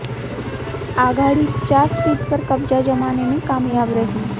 आघाडी चार सीट पर कब्जा जमाने में कामयाब रही